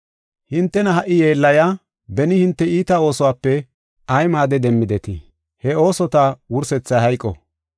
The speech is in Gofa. Hintena ha77i yeellayiya beni hinte iita oosuwape ay maade demmidetii? He oosota wursethay hayqo.